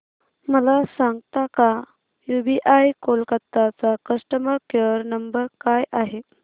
मला सांगता का यूबीआय कोलकता चा कस्टमर केयर नंबर काय आहे